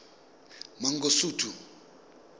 mangosuthu